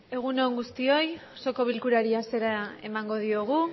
egun on guztioi osoko bilkurari hasiera emango diogu